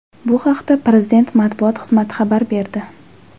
Bu haqda Prezident matbuot xizmati xabar berdi .